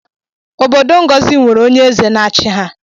Obodo ngọzi nwere onye eze na-achi ha